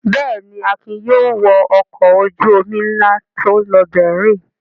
Bẹ́ẹ̀ ni, Akin yóò wọ ọkọ̀ ojú-omi ńlá tó ń lọ Berlin.